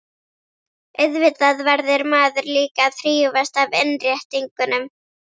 Auðvitað verður maður líka að hrífast af innréttingunum.